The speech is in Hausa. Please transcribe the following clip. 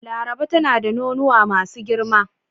Laraba tana da nonuwa masu girma.